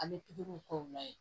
An bɛ pikiriw k'u la yen